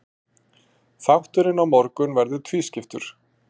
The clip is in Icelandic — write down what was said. Þátturinn á morgun verður tvískiptur.